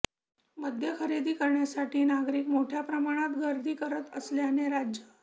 मद्य खरेदी करण्यासाठी नागरिक मोठ्या प्रमाणात गर्दी करत असल्याने राज्य